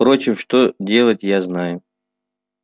впрочем что делать я знаю